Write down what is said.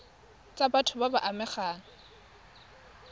tsa batho ba ba amegang